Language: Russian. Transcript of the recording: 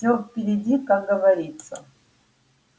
всё впереди как говорится